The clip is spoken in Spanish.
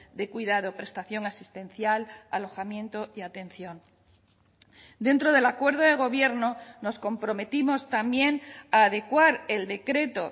de cuidado prestación asistencial alojamiento y atención dentro del acuerdo de gobierno nos comprometimos también a adecuar el decreto